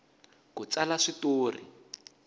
ku tsala swi tori